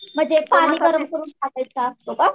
म्हणजे पाणी गरम करून टाकायचं असं का?